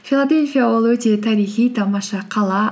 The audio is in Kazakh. филадельфия ол өте тарихи тамаша қала